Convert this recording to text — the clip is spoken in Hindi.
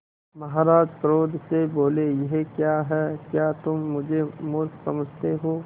महाराज क्रोध से बोले यह क्या है क्या तुम मुझे मुर्ख समझते हो